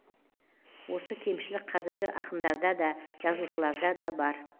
осы кемшілік қазіргі ақындарда да жазушыларда да бар